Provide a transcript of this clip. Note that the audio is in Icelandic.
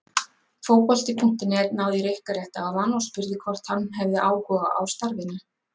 Fótbolti.net náði í Rikka rétt áðan og spurði hvort hann hefði áhuga á starfinu?